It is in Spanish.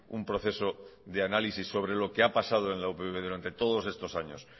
un proceso de análisis sobre lo que ha pasado en la upv durante todos estos años